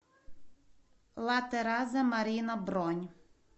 ла тераза марина бронь